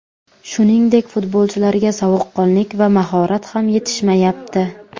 Shuningdek, futbolchilarga sovuqqonlik va mahorat ham yetishmayapti.